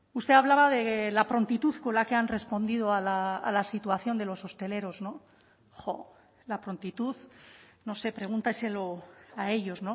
usted hablaba de la prontitud con la que han respondido a la situación de los hosteleros jo la prontitud no sé pregúnteselo a ellos